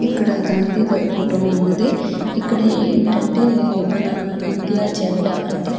ఇక్కడ గాంధీ తాత ఫోటో ఉన్నది ఇక్కడ ఏంటంటే మన ఇండియా జెండా అంటే --